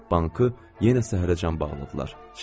Bankı yenə səhərəcən bağladılar.